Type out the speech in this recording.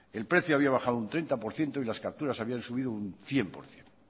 el precio había bajado un treinta por ciento y las capturas habían subido un cien por ciento